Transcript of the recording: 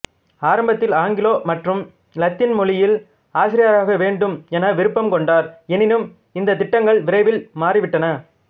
ஆரம்பத்தில் ஆங்கிலோ மற்றும் லத்தீன் மொழியில் ஆசிரியராகவேண்டும் என விருப்பம் கொண்டார் எனினும் இந்தத் திட்டங்கள் விரைவில் மாறிவிட்டன